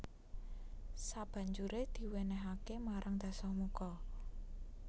Sabanjuré diwenehake marang Dasamuka